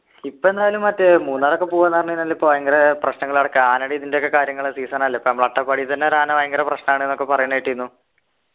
ഇപ്പൊ എന്തായാലും മറ്റേ മൂന്നാർ ഒക്കെ പോവ്വാന്ന് പറഞ്ഞ് കഴിഞ്ഞാല് ഇപ്പൊ ഭയങ്കര പ്രശ്നങ്ങൾ നടക്കാ ആനേടെ ഇതിൻ്റെ ഒക്കെ കാര്യങ്ങള് season അല്ലെ സം അട്ടപ്പാടി തന്നെ ഒരാന ഭയങ്കര പ്രശ്നമാണ്ന്നൊക്കെ പറയുന്ന കേട്ടിരുന്നു